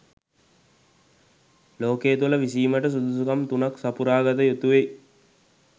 ලෝකය තුළ විසීමට සුදුසුකම් තුනක් සපුරාගත යුතුවෙයි.